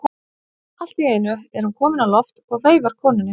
Allt í einu er hún komin á loft og veifar konunni.